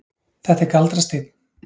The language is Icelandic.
Þetta er galdrasteinn.